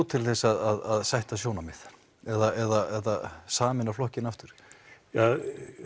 til þess að sætta sjónarmið eða sameina flokkinn aftur ja